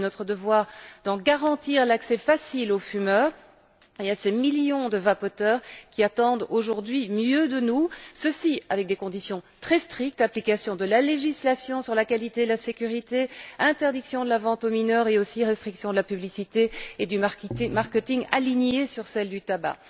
Il est de notre devoir d'en garantir l'accès facile aux fumeurs et à ces millions de vapoteurs qui attendent, aujourd'hui, mieux de nous, et ce avec des conditions très strictes l'application de la législation sur la qualité, la sécurité, l'interdiction de la vente aux mineurs et aussi la restriction de la publicité et du marketing alignée sur celle du tabac.